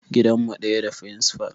Gidan mu ɗaya da firincifal